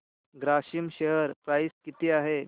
Grasim share price किती आहे